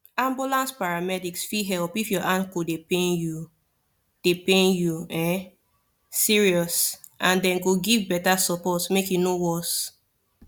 ambulance paramedics fit help if your ankle dey pain you dey pain you um serious and dem go give better support make e no worse